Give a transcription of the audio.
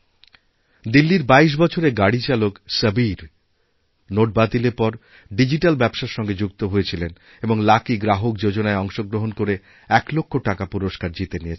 দিল্লির ২২ বছরের গাড়িচালক সবীর নোট বাতিলের পর ডিজিট্যালব্যবসার সঙ্গে যুক্ত হয়েছিলেন এবং লাকি গ্রাহক যোজনায় অংশগ্রহণ করে ১ লক্ষ টাকাপুরস্কার জিতে নিয়েছেন